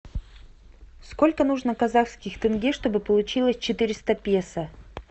сколько нужно казахских тенге чтобы получилось четыреста песо